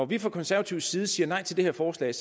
vi fra konservativ side siger nej til det her forslag